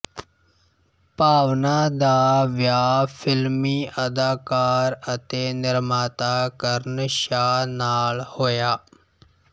ਭਾਵਨਾ ਦਾ ਵਿਆਹ ਫ਼ਿਲਮੀ ਅਦਾਕਾਰ ਅਤੇ ਨਿਰਮਾਤਾ ਕਰਨ ਸ਼ਾਹ ਨਾਲ ਹੋਇਆ